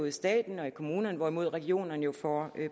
i staten og i kommunerne hvorimod regionerne jo får